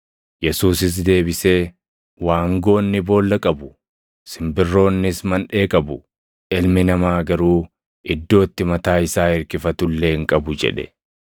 Yesuusis deebisee, “Waangoonni boolla qabu; simbirroonnis manʼee qabu; Ilmi Namaa garuu iddoo itti mataa isaa irkifatu illee hin qabu” jedhe.